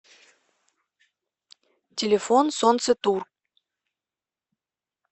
телефон солнцетур